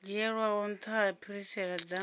dzhielwaho nṱha dza phirisela dza